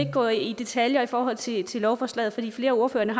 gå i detaljer i forhold til til lovforslaget fordi flere af ordførerne